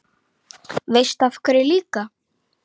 Veistu af hverju líka?